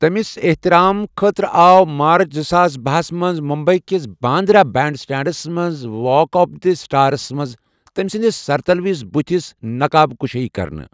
تٔمِس احتِرام خٲطرٕ آو مارچ زٕساس بَہَس منٛز ممبئی کِس باندرہ بینڈ سٹینڈس منٛز واک آف دی سٹارس منٛز تمہِ سندِس سرتٕلوِس بٗتس نقاب كٗشٲیی كرنہٕ ۔